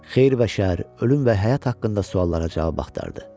Xeyir və şər, ölüm və həyat haqqında suallara cavab axtardı.